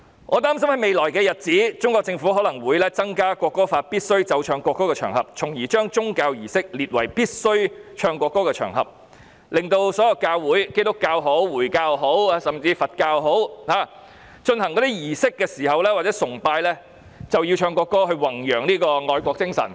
我擔心在未來日子，中國政府可能會增加《國歌法》中須奏唱國歌的場合，將宗教儀式列為須奏唱國歌的場合，令所有教會——不論是基督教或回教，甚至是佛教——進行儀式或崇拜時，均要奏唱國歌以宏揚愛國精神。